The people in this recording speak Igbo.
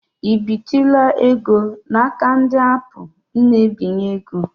I bitụla ego n'aka ndị aapụ na-ebinye ego?